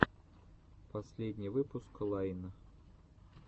последний выпуск лайн